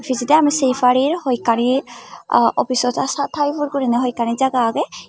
pijedi ami sey parir hoi ekkani office o type or guriney hoi ekkani jaga agey.